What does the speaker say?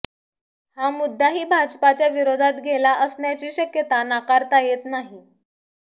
हा मुद्दाही भाजपाच्या विरोधात गेला असण्याची शक्यता नाकारता येत नाही